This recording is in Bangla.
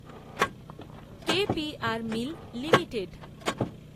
K P R mill limited